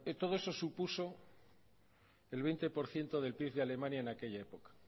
todo eso supuso el veinte por ciento del pib de alemania en aquella época